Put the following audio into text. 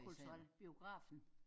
Kulturel biografen